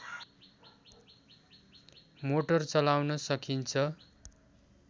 motor चलाउन सकिन्छ